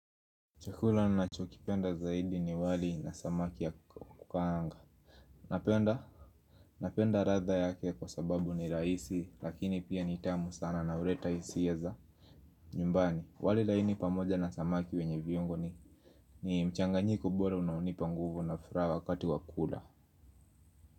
Chakula ninachokipenda zaidi ni wali na samaki ya kukaanga. Napenda. Napenda ladha yake kwa sababu ni rahisi, lakini pia ni tamu sana na huleta hisia za. Nyumbani, wali laini pamoja na samaki wenye viungo ni ni mchanganyiko bora na hunipa nguvu na furaha wakati wa kukula.